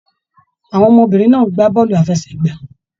Àwọn ọmọbìnrin náà ń gbá bọọlu àfẹ́sẹ̀gbà.